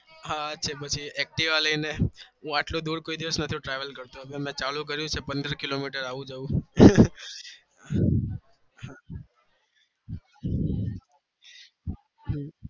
હ છે હું activa પંદરકિલો મીટર આવું જવું